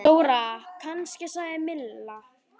Dóra kannski? sagði Milla.